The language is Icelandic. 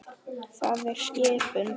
Það er skipun!